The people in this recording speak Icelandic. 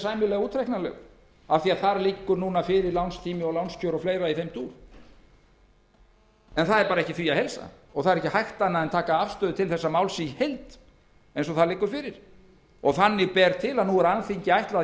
sæmilega útreiknanlegur af því að þar liggur lánstími fyrir og lánskjör og fleira í þeim dúr en því er ekki að heilsa og ekki er annað hægt en taka afstöðu til þessa máls í heild eins og það er nú er alþingi